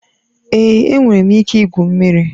Èé, enwere m ike igwu mmiri